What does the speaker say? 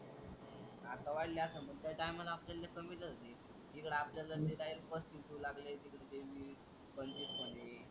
आता वाढले असेन पण त्या टायमाला आपल्याला कमीच होत कि इकडं आपल्याला ते डायरेक्ट लागलंय तिकडं ते पंचवीस म्हणे.